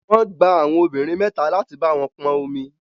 Wọ́n gba àwọn obìnrin mẹ́ta láti bá wọn pọn omi